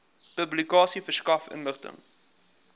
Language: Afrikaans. publikasie verskaf inligting